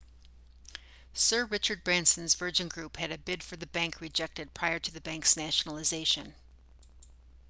sir richard branson's virgin group had a bid for the bank rejected prior to the bank's nationalisation